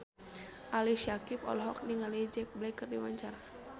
Ali Syakieb olohok ningali Jack Black keur diwawancara